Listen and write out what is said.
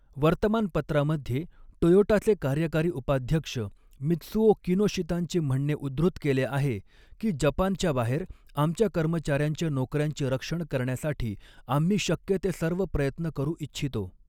वर्तमानपत्रामध्ये, टोयोटाचे कार्यकारी उपाध्यक्ष मित्सुओ किनोशितांचे म्हणणे उद्धृत केले आहे की, जपानच्या बाहेर, आमच्या कर्मचार्यांच्या नोकऱ्यांचे रक्षण करण्यासाठी आम्ही शक्य ते सर्व प्रयत्न करू इच्छितो.